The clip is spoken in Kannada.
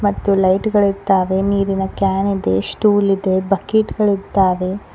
ಮತ್ತು ಲೈಟ್ ಗಳಿದ್ದಾವೆ ನೀರಿನ ಕ್ಯಾನ್ ಇದೆ ಸ್ಟೂಲ್ ಇದೆ ಬಕಿಟ್ ಗಳಿದ್ದಾವೆ.